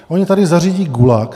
Oni tady zařídí gulag.